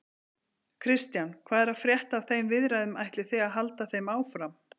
Kristján: Hvað er að frétta af þeim viðræðum, ætlið þið að halda þeim áfram?